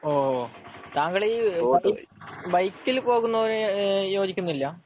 ഓഹ് താങ്കൾ ഈ ബൈക്കിൽ പോകുന്നത് ഈഹ് യോജിക്കുന്നില്ല